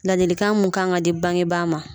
Ladilikan mun kan ka di bangebaa ma.